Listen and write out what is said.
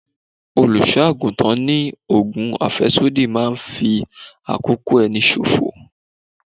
Olùṣọ́-àgùntàn ní ogun afesodi máa ń fi àkókò ẹni ṣòfò.